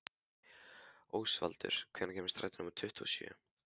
Ósvaldur, hvenær kemur strætó númer tuttugu og sjö?